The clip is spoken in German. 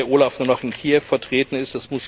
OLAF nur noch in Kiew vertreten ist.